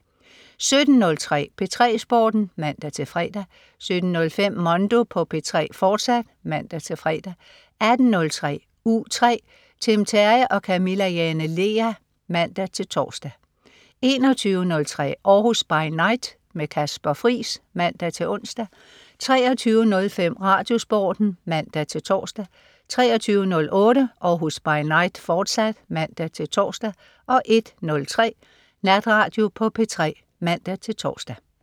17.03 P3 Sporten (man-fre) 17.05 Mondo på P3, fortsat (man-fre) 18.03 U3 . Tim Terry og Camilla Jane Lea (man-tors) 21.03 Århus By Night. Kasper Friis (man-ons) 23.05 RadioSporten (man-tors) 23.08 Århus By Night, fortsat (man-tors) 01.03 Natradio på P3 (man-tors)